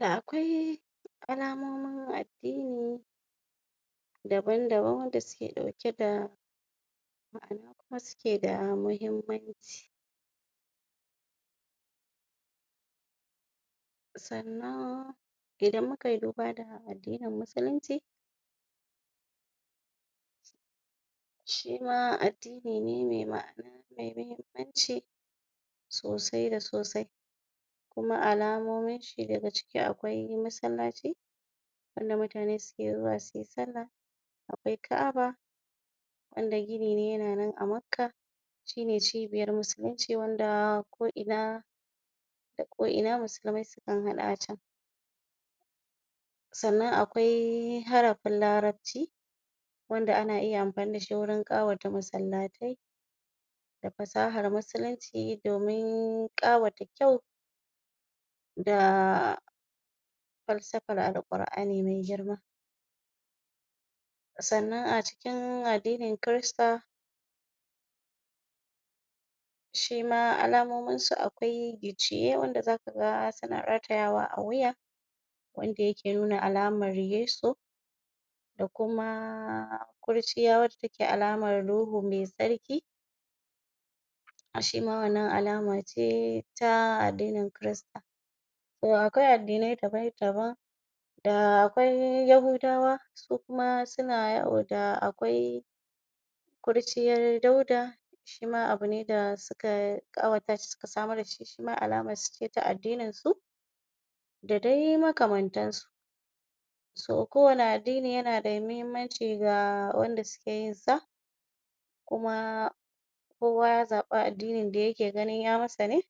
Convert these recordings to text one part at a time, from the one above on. da akwai alamomin addini daban daban wanda suke ɗauke da ma'ana suke da mahimmanci um sannan idan mukayi duba da addinin musulunci um shima addini ne me ma'ana me mahimmanci sosai da sosai kuma alamominshi daga ciki akwai masallaci wanda mutane suke zuwa suyi sallah akwai ka'aba wanda gini ne yana nan a makkah shine cibiyar musulunci wanda ko ina ko ina da ko ina musulmai sukan haɗu a can sannan akwai harafin larabci wanda ana iya amfani dashi wurin ƙawata masalla tai da fasahar musulunci domin ƙawata kyau da falsafar Alqur'ani me girma sannan acikin addinin kirista um shima alamominsa akwai gicciye wanda zaka ga suna ratayawa a wuya wanda yake nuna alamar yesu da kuma kurciya wanda take wanda take alamar ruhu me tsarki shima wannan alamace ta addinin kirista akwai addinai daban daban da akwai ya hudawa su kuma suna yawo da akwai kurciyar dauda shima abune da suka ƙawatashi suka samar dashi suma alamarsu ce ta addininsu da dai makamantansu so ko wanne addini yana da mahimmanci ga wanda sukeyin sa kuma kowa ya zaɓi addinin da yake ganin ya masa ne um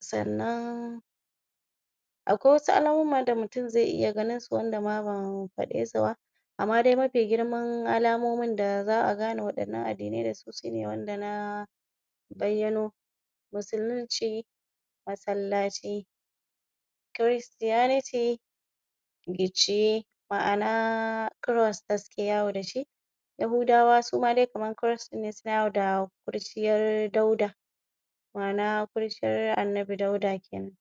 sannan akwai wasu alamomin da mutum zai ya ganinsu wanda ma ban faɗe suba amma dai mafi girman alamomin da za a gane waɗannan addinai sune wanda na baiyano musulunci masallaci christianity gicciye ma'ana cross da suke yawo dashi ya hudawa suma kamar cross ne suna yawo da kurciyar dauda ma'ana kurciyar annabi dauda kenan